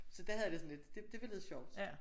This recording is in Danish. Så der havde jeg det sådan lidt det det var lidt sjovt